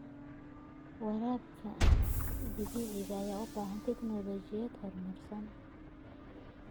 Waraabka dhibicda ayaa u baahan tignoolajiyad horumarsan.